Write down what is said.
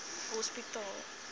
hospitaal